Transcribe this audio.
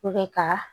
ka